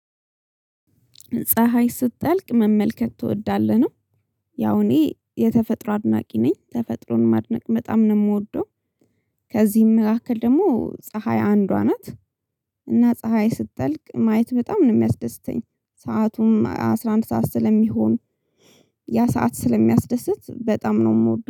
ፀሀይ ስትጠልቅ መመልከት ትወዳለህ ነው? ያው እኔ የተፈጥሮ አድናቂ ነኝ ተፈጥሮን ማድነቅ በጣም ነው የምወደው። ከዚህም መካከል ደግሞ ፀሀይ አንዷ ናት። እና ፀሀይ ስትጠልቅ ማየት በጣም ነው የሚያስደስተኝ። ሰአቱም አስራ አንድ ሰዓት ስለሚሆን ያ ሰዓት ስለሚያስደስት በጣም ነው የምወደው